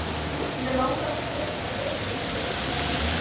Mig langar frekar að lesa lög, sagði hann.